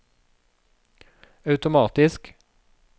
automatisk